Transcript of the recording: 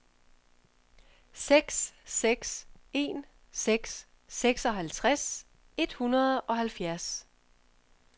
seks seks en seks seksoghalvtreds et hundrede og halvfjerds